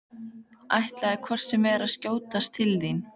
Ætlaði hvort sem er að skjótast til þín.